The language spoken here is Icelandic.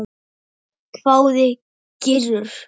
hváði Gizur.